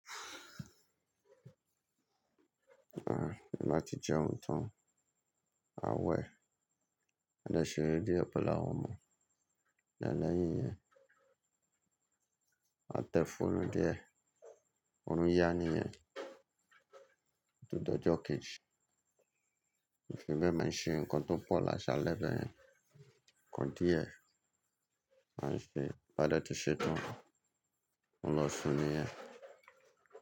Nbà tí jẹ́un tań, maa wẹ̀, maa dé ṣe ere díẹ̀ pẹ̀lú àwọn ọmọ, lẹ́yìn iyẹn, ma te foonu díẹ̀, òórùn yá nìyẹn, ó tun dọjo kejì, mi fi be ma ṣe nǹkan tó pọ̀ lásalẹ̀ bẹ́ẹ̀ yẹn, nǹkan díẹ̀, a ṣe, ti n bá dẹ́ tí ṣe tán, mo n lọ sùn nìyẹn.